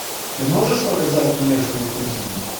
ты можешь показать нежные кузины